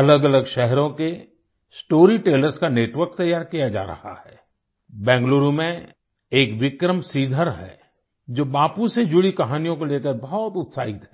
अलगअलग शहरों के स्टोरी टेलर्स का नेटवर्क तैयार किया जा रहा है आई बेंगलुरु में एक विक्रम श्रीधर हैं जो बापू से जुड़ी कहानियों को लेकर बहुत उत्साहित हैं